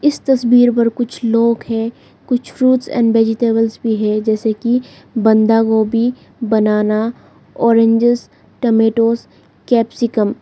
इस तस्वीर पर कुछ लोग है कुछ फ्रूट्स एंड वेजिटेबल्स भी है जैसे कि बंदा गोभी बनाना ऑरेंजेस टमेटोज़ कैप्सिकम ।